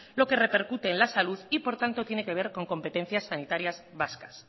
lo que repercute en la salud y por tanto tiene que ver con competencias sanitarias vascas